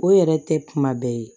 O yɛrɛ tɛ kuma bɛɛ ye